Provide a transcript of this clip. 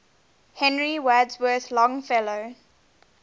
henry wadsworth longfellow